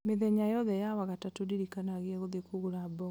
mĩthenya yothe ya wagatatũ ndirikanagia gũthiĩ kũgũra mboga